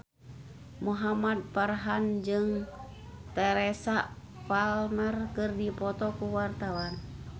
Muhamad Farhan jeung Teresa Palmer keur dipoto ku wartawan